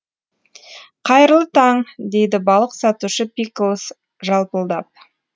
қайырлы таң дейді балық сатушы пикклз жалпылдап